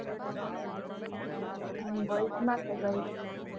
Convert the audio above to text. હમ boys માં કે Girls માં